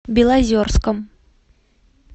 белозерском